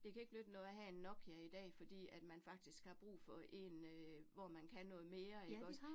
Det kan ikke nytte noget at have en Nokia i dag fordi, at man faktisk har brug for en øh, hvor man kan noget mere ikke også